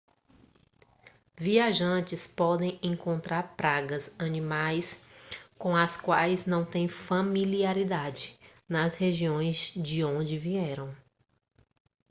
viajantes podem encontrar pragas animais com as quais não têm familiaridade nas regiões de onde vieram